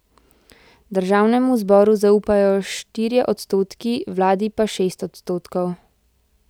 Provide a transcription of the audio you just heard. Državnemu zboru zaupajo štirje odstotki, vladi pa šest odstotkov.